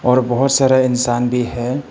और बहोत सारे इंसान भी है।